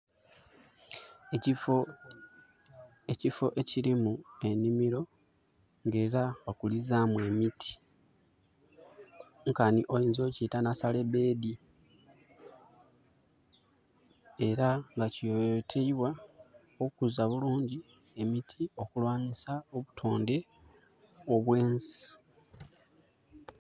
Ekifo ekilimu enimiro nga era bakulizamu emiti nkanhi oyinza okukyeta nasale beedi. Era nga kiyoyoteibwa okuza bulungi emiti okulwanhisa obutondhe obwensi.